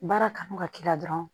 Baara kanu ka k'i la dɔrɔn